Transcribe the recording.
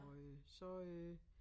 Og øh så øh